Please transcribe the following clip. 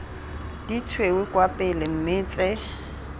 ditshweu kwa pele mme tse